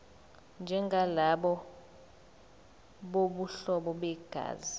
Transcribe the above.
njengalabo bobuhlobo begazi